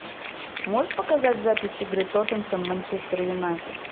можешь показать запись игры тоттенхэм манчестер юнайтед